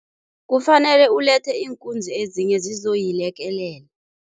Kufanele ulethe iinkunzi ezinye zizoyilekelela.